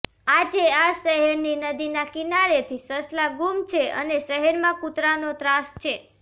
આજે આ શહેરની નદીના કિનારેથી સસલાં ગુમ છે અને શહેરમાં કૂતરાંનો ત્રાસ છે